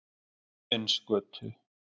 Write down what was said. Óðinsgötu